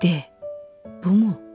De, bumu?